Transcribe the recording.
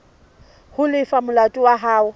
ho lefa molato wa hao